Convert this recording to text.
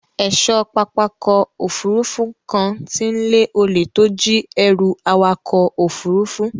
Ẹ̀ṣọ́ pápákọ̀ òfurufú kan ti ń lé olè tó jí ẹrù awakọ̀ òfurufú.